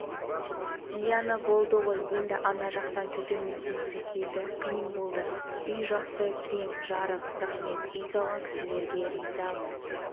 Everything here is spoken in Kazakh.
зияны болды ғой енді ана жақтан түтіннің иісі келді қиын болды үй жақсы кең жарық рахмет үй салған кісілерге ризамыз